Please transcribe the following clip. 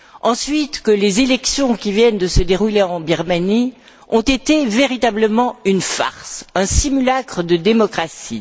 Ensuite, n'oublions pas que les élections qui viennent de se dérouler en Birmanie ont été véritablement une farce, un simulacre de démocratie.